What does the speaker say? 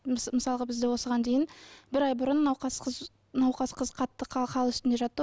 мысалға бізде осыған дейін бір ай бұрын науқас қыз науқас қыз қатты хал үстінде жатты